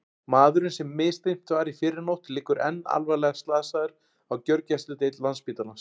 Maðurinn sem misþyrmt var í fyrrinótt liggur enn alvarlega slasaður á gjörgæsludeild Landspítalans.